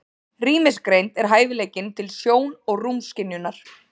Rýmisgreind er hæfileikinn til sjón- og rúmskynjunar.